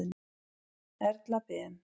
Erla Ben.